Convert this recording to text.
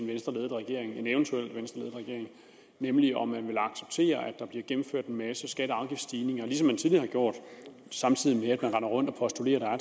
venstreledet regering nemlig om man vil acceptere at der bliver gennemført en masse skatte og afgiftsstigninger ligesom man tidligere har gjort samtidig har rendt rundt og postuleret at